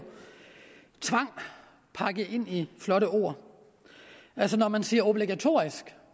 tvang pakket ind i flotte ord altså når man siger obligatorisk